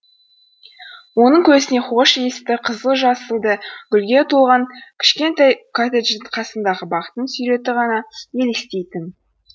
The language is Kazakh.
оның көзіне хош иісті қызыл жасылды гүлге толған кішкентай коттедждің қасындағы бақтың суреті ғана елестейтін